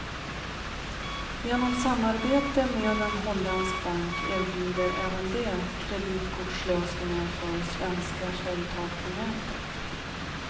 Genom samarbete med en holländsk bank erbjuder även de kreditkortslösningar för svenska företag på nätet.